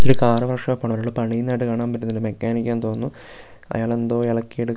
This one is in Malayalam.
ഇത് കാറ് വർക്ക്‌ ഷോപ്പ് ആണ് ഒരാള് പണിയുന്നതായിട്ട് കാണാൻ പറ്റുന്നുണ്ട് മെക്കാനിക് ആണെന്ന് തോന്നുന്നു അയാൾ എന്തോ എളക്കി എടുക്കുന്നതാ --